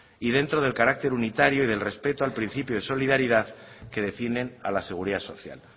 y dentro del carácter unitario y del respeto al principio de solidaridad que definen a la seguridad social